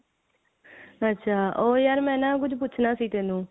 ਅੱਛਾ ਉਹ ਯਾਰ ਮੈਂ ਨਾ ਕੁੱਚ ਪੁੱਛਨਾ ਸੀ ਤੈਨੂੰ